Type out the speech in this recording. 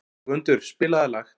Gvöndur, spilaðu lag.